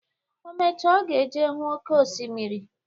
Omecha, ọ ga eje huu oké osimiri.